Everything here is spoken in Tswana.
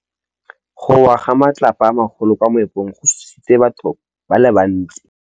Go wa ga matlapa a magolo ko moepong go tshositse batho ba le bantsi.